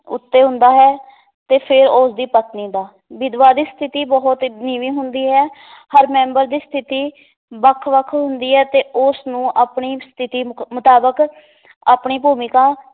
ਉੱਤੇ ਹੁੰਦਾ ਹੈ ਤੇ ਫਿਰ ਉਸ ਦੀ ਪਤਨੀ ਦਾ ਵਿਧਵਾ ਦੀ ਸਥਿਤੀ ਬਹੁਤ ਨੀਵੀਂ ਹੁੰਦੀ ਹੈ ਹਰ ਮੈਂਬਰ ਦੀ ਸਥਿਤੀ ਵੱਖ-ਵੱਖ ਹੁੰਦੀ ਹੈ ਤੇ ਉਸ ਨੂੰ ਆਪਣੀ ਸਥਿਤੀ ਮੁਕ ਮੁਤਾਬਕ ਆਪਣੀ ਭੂਮਿਕਾ